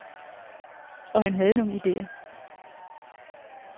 Og han havde nogle idéer.